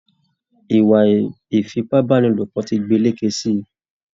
Ìwà ifipabanilopo tí gbélékè sí.